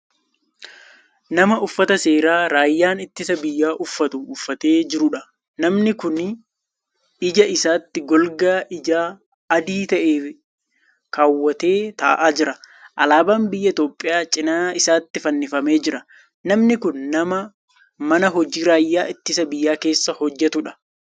Nama Uffata seeraa raayyaan ittisa biyyaa uffatu uffatee jiruudha. namni Kuni ija isaatti golgaa ijaa adii ta'e keewwatee taa'aa jira. alaabaan biyya itoophiyaa cinaa isaatti fannifamee Jira. namni Kuni nama man hojii raayyaa ittisa biyyaa keessa hojjatuudha.